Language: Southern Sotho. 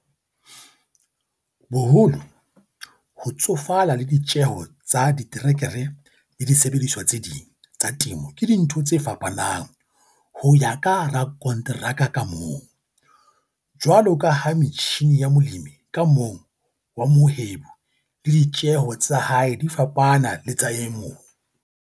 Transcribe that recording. Boholo, ho tsofala le ditjeho tsa diterekere le disebediswa tse ding tsa temo ke dintho tse fapanang ho ya ka rakonteraka ka mong - jwalo ka ha metjhine ya molemi ka mong wa mohwebi le ditjeho tsa hae di fapana le tsa e mong.